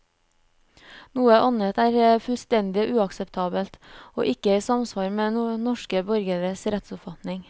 Noe annet er fullstendig uakseptabelt, og ikke i samsvar med norske borgeres rettsoppfatning.